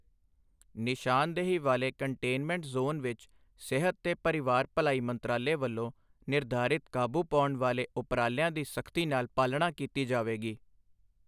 ਨਿਸ਼ਾਨਦੇਹੀ ਵਾਲੇ containment zone ਵਿੱਚ ਸਿਹਤ ਤੇ ਪਰਿਵਾਰ ਭਲਾਈ ਮੰਤਰਾਲੇ ਵੱਲੋਂ ਨਿਰਧਾਰਿਤ ਕਾਬੂ ਪਾਉਣ ਵਾਲੇ ਉਪਰਾਲਿਆਂ ਦੀ ਸਖ਼ਤੀ ਨਾਲ ਪਾਲਣਾ ਕੀਤੀ ਜਾਵੇਗੀ।